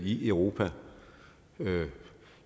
i europa